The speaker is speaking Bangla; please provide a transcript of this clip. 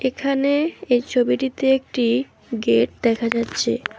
এখানে এই ছবিটিতে একটি গেট দেখা যাচ্ছে।